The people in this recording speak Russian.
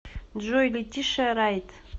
джой летишиа райт